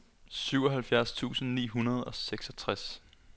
syvoghalvfjerds tusind ni hundrede og seksogtres